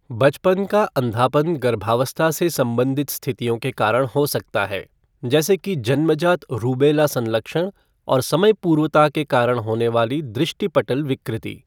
बचपन का अंधापन गर्भावस्था से संबंधित स्थितियों के कारण हो सकता है, जैसे कि जन्मजात रूबेला संलक्षण और समयपूर्वता के कारण होनेवाली दृष्टिपटल विकृति।